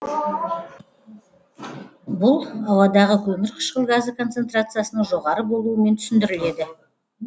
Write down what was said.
бұл ауадағы көмірқышқыл газы концентрациясының жоғары болуымен түсіндіріледі